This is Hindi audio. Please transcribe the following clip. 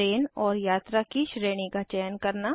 ट्रेन और यात्रा की श्रेणी का चयन करना